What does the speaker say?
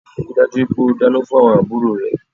Ríi dájú wípé o dáná fún àwon àbúrò rẹ